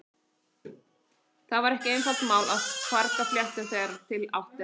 Það var ekki einfalt mál að farga fléttum þegar til átti að taka.